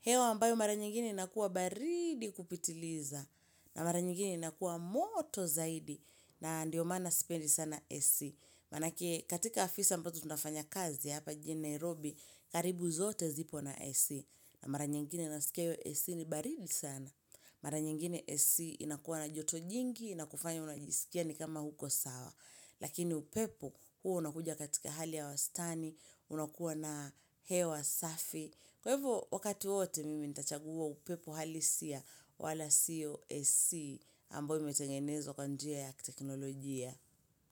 hewa ambayo mara nyingine nakuwa baridi kupitiliza, na mara nyingine nakuwa moto zaidi, na ndiyo maana sipendi sana AC. Manaki katika afisi mpoto tunafanya kazi hapa jine Nairobi karibu zote zipo na AC na mara nyingine nasikia yo AC ni baridi sana Mara nyingine AC inakuwa na joto jingi na kufanya unajisikia ni kama hauko sawa Lakini upepo huo unakuja katika hali ya wastani unakuwa na hewa safi Kwa ivo wakati ote mimi nita chaguwa upepo halisia wala siyo AC ambayo imetengenezwa kwan jia ya teknolojia.